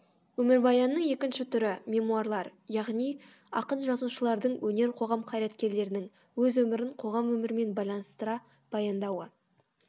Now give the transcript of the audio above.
өмірбаянның екінші түрі мемуарлар яғни ақын жазушылардың өнер қоғам қайраткерлерінің өз өмірін қоғам өмірімен байланыстыра баяндауы